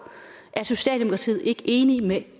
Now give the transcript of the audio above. er socialdemokratiet ikke enige med